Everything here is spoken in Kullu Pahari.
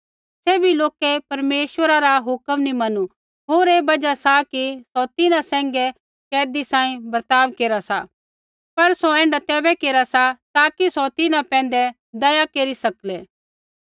सैभी लोकै परमेश्वरा रा हुक्म नैंई मनू होर ऐ बजहा सा कि सौ तिन्हां सैंघै कैदी सांही बर्ताव केरा सी पर सौ ऐण्ढा तैबै केरा सा ताकि सौ तिन्हां पैंधै दया केरी सकलै